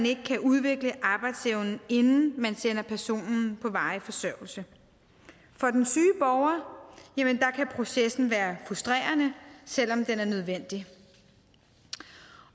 ikke kan udvikle arbejdsevnen inden man sender personen på varig forsørgelse for den syge borger kan processen være frustrerende selv om den er nødvendig